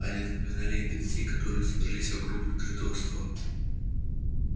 они напоминали ему детей которые собрались вокруг накрытого стола